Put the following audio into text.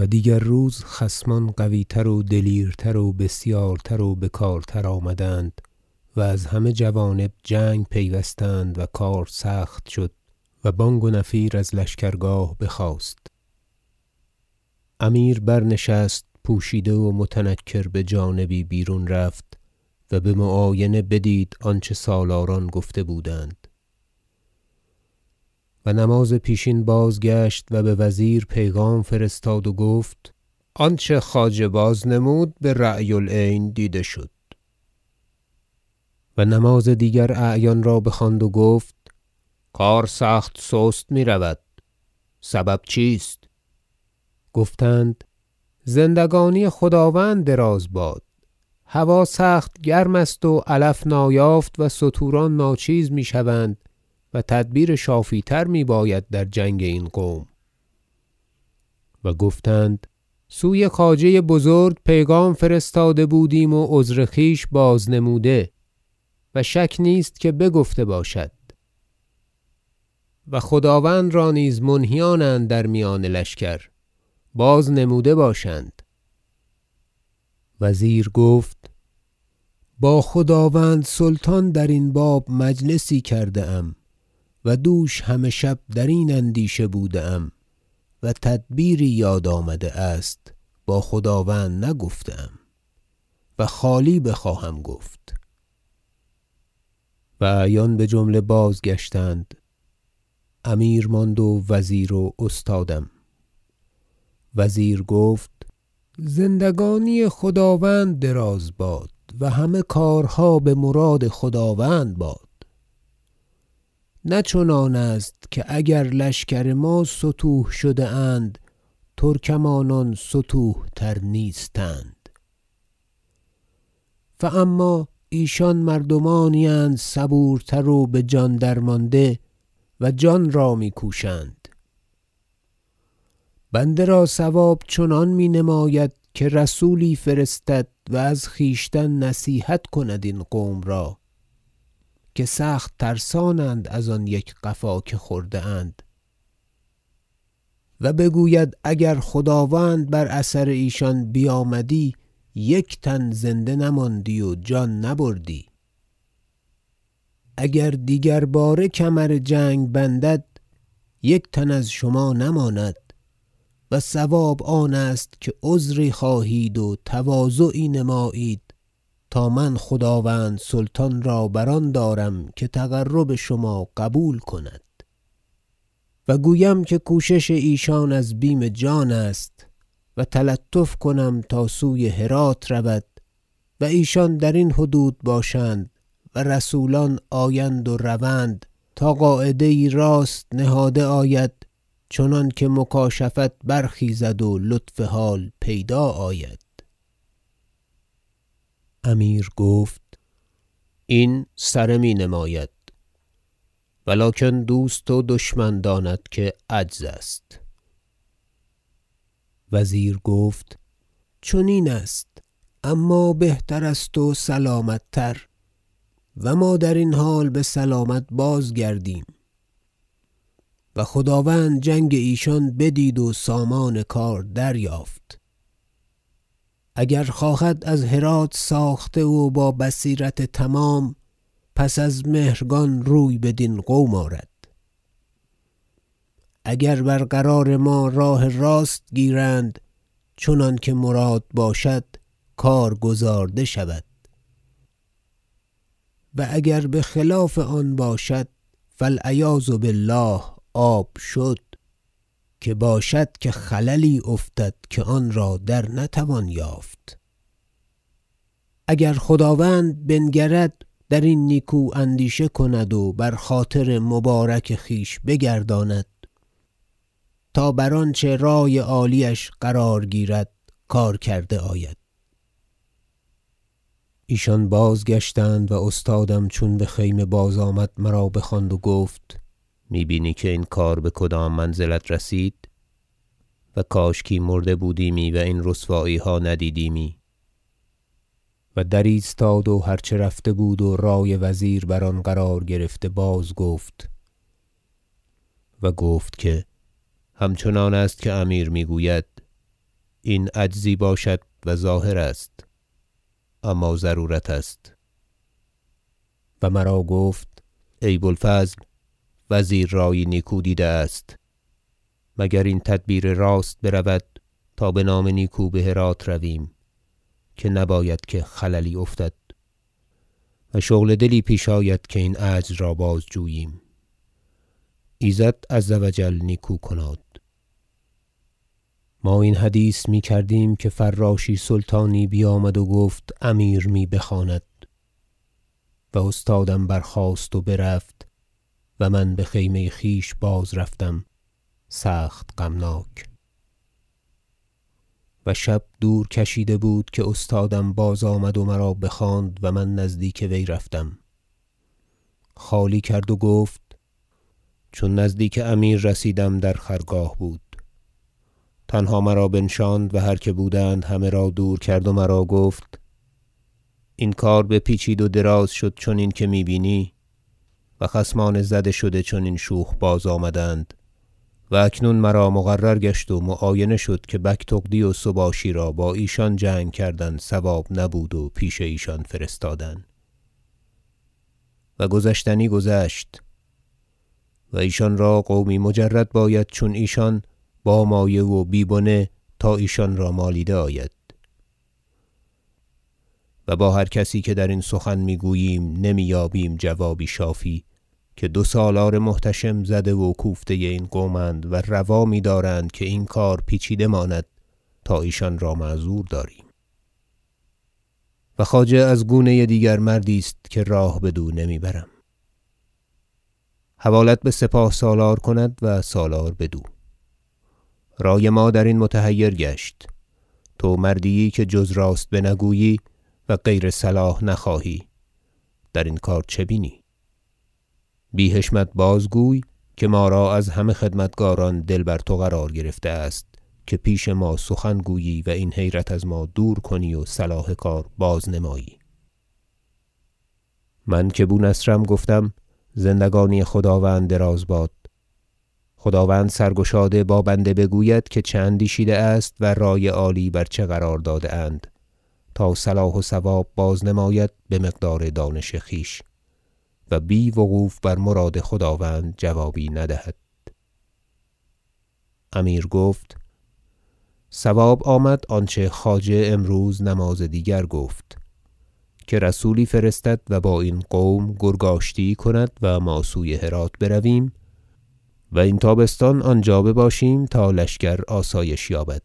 باز آمدن ترکمانان بجنگ و دیگر روز خصمان قویتر و دلیرتر و بسیارتر و بکارتر آمدند و از همه جوانب جنگ پیوستند و کار سخت شد و بانگ و نفیر از لشکرگاه بخاست امیر برنشست پوشیده و متنکر بجانبی بیرون رفت و بمعاینه بدید آنچه سالاران گفته بودند و نماز پیشین بازگشت و بوزیر پیغام فرستاد و گفت آنچه خواجه بازنمود برای العین دیده شد و نماز دیگر اعیان را بخواند و گفت کار سخت سست میرود سبب چیست گفتند زندگانی خداوند دراز باد هوا سخت گرم است و علف نایافت و ستوران ناچیز میشوند و تدبیر شافی تر میباید در جنگ این قوم و گفتند سوی خواجه بزرگ پیغام فرستاده بودیم و عذر خویش بازنموده و شک نیست که بگفته باشد و خداوند را نیز منهیانند در میان لشکر بازنموده باشند وزیر گفت با خداوند سلطان درین باب مجلسی کرده ام و دوش همه شب درین اندیشه بوده ام و تدبیری یاد آمده است با خداوند نگفته ام و خالی بخواهم گفت و اعیان بجمله بازگشتند امیر ماند و وزیر و استادم وزیر گفت زندگانی خداوند دراز باد و همه کارها بمراد خداوند باد نه چنان است که اگر لشکر ما ستوه شده اند ترکمانان ستوه تر نیستند فاما ایشان مردمانی اند صبورتر و بجان درمانده و جان را میکوشند بنده را صواب چنان می نماید که رسولی فرستد و از خویشتن نصیحت کند این قوم را که سخت ترسانند از آن یک قفا که خورده اند و بگوید اگر خداوند بر اثر ایشان بیامدی یک تن زنده نماندی و جان نبردی اگر دیگر باره کمر جنگ بندد یک تن از شما نماند و صواب آن است که عذری خواهید و تواضعی نمایید تا من خداوند سلطان را بر آن دارم که تقرب شما قبول کند و گویم که کوشش ایشان از بیم جان است و تلطف کنم تا سوی هرات رود و ایشان درین حدود باشند و رسولان آیند روند تا قاعده یی راست نهاده آید چنانکه مکاشفت برخیزد و لطف حال پیدا آید امیر گفت این سره می نماید و لکن دوست و دشمن داند که عجز است وزیر گفت چنین است اما بهتر است و سلامت تر و ما درین حال بسلامت بازگردیم و خداوند جنگ ایشان بدید و سامان کار دریافت اگر خواهد از هرات ساخته و با بصیرت تمام پس از مهرگان روی بدین قوم آرد اگر برقرار ما راه راست گیرند چنانکه مراد باشد کار گزارده شود و اگر بخلاف آن باشد فالعیاذ بالله آب شد که باشد خللی افتد که آن را در نتوان یافت اگر خداوند بنگرد درین نیکو اندیشه کند و بر خاطر مبارک خویش بگرداند تا بر آنچه رای عالیش قرار گیرد کار کرده آید ایشان بازگشتند و استادم چون بخیمه بازآمد مرا بخواند و گفت می بینی که این کار بکدام منزلت رسید و کاشکی مرده بودیمی و این رسواییها ندیدیمی و در ایستاد و هر چه رفته بود و رای وزیر بر آن قرار گرفته باز گفت و گفت که همچنان است که امیر میگوید این عجزی باشد و ظاهر است اما ضرورت است و مرا گفت ای بو الفضل وزیر رایی نیکو دیده است مگر این تدبیر راست برود تا بنام نیکو بهرات رویم که نباید که خللی افتد و شغل دلی پیش آید که این عجز را بازجوییم ایزد عز و جل نیکو کناد ما این حدیث میکردیم که فراشی سلطانی بیامد و گفت امیر می بخواند و استادم برخاست و برفت و من بخیمه خویش باز رفتم سخت غمناک و شب دور کشیده بود که استادم بازآمد و مرا بخواند و من نزدیک وی رفتم خالی کرد و گفت چون نزدیک امیر رسیدم در خرگاه بود تنها مرا بنشاند و هر که بودند همه را دور کرد و مرا گفت این کار بپیچید و دراز شد چنین که می بینی و خصمان زده شده چنین شوخ بازآمدند و اکنون مرا مقرر گشت و معاینه شد که بگتغدی و سباشی را با ایشان جنگ کردن صواب نبود و پیش ایشان فرستادن و گذشتنی گذشت و ایشان را قومی مجرد باید چون ایشان با مایه و بی بنه تا ایشان را مالیده آید و با هر کسی که درین سخن میگوییم نمی یابیم جوابی شافی که دو سالار محتشم زده و کوفته این قومند و روا میدارند که این کار پیچیده ماند تا ایشان را معذور داریم و خواجه از گونه دیگر مردی است که راه بدو نمی برم حوالت بسپاه سالار کند و سالار بدو رای ما درین متحیر گشت تو مردی ای که جزر است بنگویی و غیر صلاح نخواهی درین کار چه بینی بی حشمت بازگوی که ما را از همه خدمتکاران دل بر تو قرار گرفته است که پیش ما سخن گویی و این حیرت از ما دور کنی و صلاح کار بازنمایی من که بو نصر گفتم زندگانی خداوند دراز باد خداوند سرگشاده با بنده بگوید که چه اندیشیده است و رای عالی بر چه قرار داده اند تا صلاح و صواب بازنماید بمقدار دانش خویش و بی وقوف بر مراد خداوند جوابی ندهد امیر گفت صواب آمد آنچه خواجه امروز نماز دیگر گفت که رسولی فرستد و با این قوم گرگ آشتی یی کند و ما سوی هرات برویم و این تابستان آنجا بباشیم تا لشکر آسایش یابد